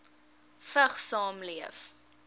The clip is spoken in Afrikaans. vigs saamleef